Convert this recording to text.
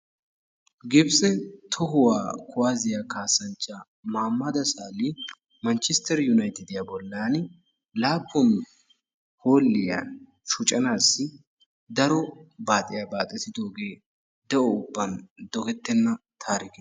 gibitse tohuwaa kuwaasiyaa kaassanchchaa maamada sahali manchistter yunayitidiyaa bollan laappun hoolliyaa shocanaassi daro baaxiyaa baaxetidoogee de'o ubban dogettenna taarike.